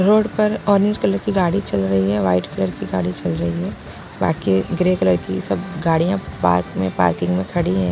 Road पर orange colour की गाड़ी चल रही है वाइट कलर की गाड़ी चल रही है बाकी ग्रे कलर की सब गाड़ियां पार्क में पार्किंग में खड़ी है।